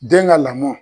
Den ka lamɔ